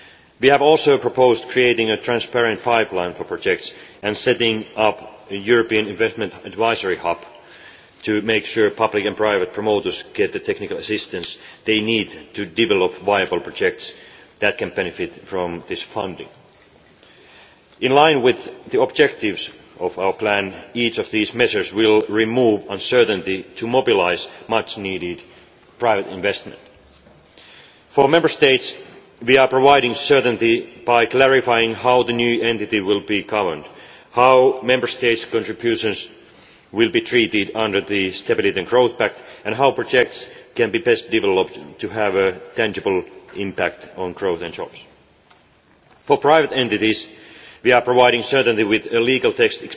We have also proposed creating a transparent pipeline for projects and setting up a European investment advisory hub to make sure public and private promoters get the technical assistance they need to develop viable projects that can benefit from this funding. In line with the objectives of our plan, each of these measures will remove uncertainty in order to mobilise much needed private investment. For Member States we are providing certainty by clarifying how the new entity will be governed, how Member States' contributions will be treated under the Stability and Growth Pact and how projects can best be developed to have a tangible impact on growth and jobs. For private entities we are providing certainty with a legal text